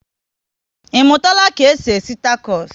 I mụtara ka e si esi takos?